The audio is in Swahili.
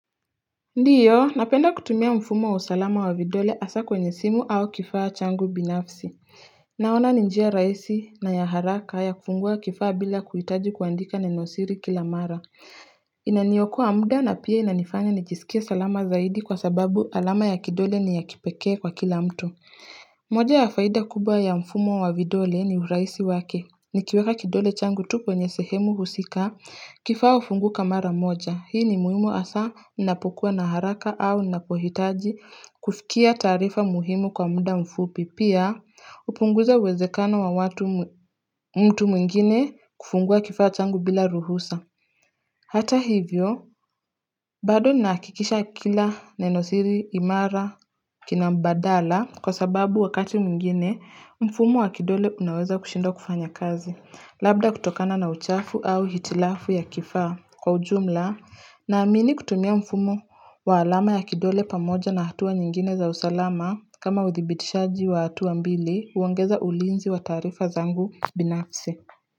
Ndiyo napenda kutumia mfumo wa usalama wa vidole asa kwenye simu au kifaa changu binafsi Naona ni njia raisi na ya haraka ya kufungua kifaa bila kuitaji kuandika nenosiri kila mara Inaniyokuwa muda na pia inanifanya nijisikia salama zaidi kwa sababu alama ya kidole ni ya kipekee kwa kila mtu moja ya faida kubwa ya mfumo wa vidole ni urahisi wake ni kiweka kidole changu tupo nye sehemu husika kifaa ufungu kamara moja. Hii ni muhimu asa napukua na haraka au napohitaji kufikia tarifa muhimu kwa muda mfupi. Pia upunguza wezekano wa mtu mwingine kufungua kifaa changu bila ruhusa. Hata hivyo, bado ni nakikisha kila nenosiri imara kinambadala kwa sababu wakati mingine mfumo wa kidole unaweza kushinda kufanya kazi, labda kutokana na uchafu au hitilafu ya kifaa kwa ujumla naamini kutumia mfumo wa alama ya kidole pamoja na hatuwa nyingine za usalama kama withibitishaji wa hatua mbili uangeza ulinzi wa tarifa zangu binafse.